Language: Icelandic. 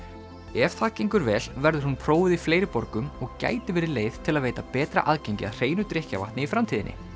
ef það gengur vel verður hún prófuð í fleiri borgum og gæti verið leið til að veita betra aðgengi að hreinu drykkjarvatni í framtíðinni